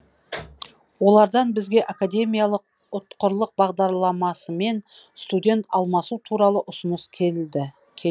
олардан бізге академиялық ұтқырлық бағдарламасымен студент алмасу туралы ұсыныс келді